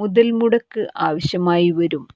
മുതല്മുടക്ക് ആവശ്യമായിവരും